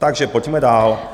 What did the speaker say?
Takže pojďme dále.